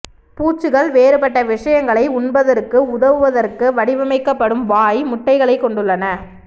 பூச்சிகள் வேறுபட்ட விஷயங்களை உண்பதற்கு உதவுவதற்காக வடிவமைக்கப்படும் வாய் முட்டைகளைக் கொண்டுள்ளன